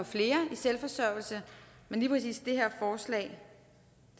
selvforsørgelse men lige præcis det her forslag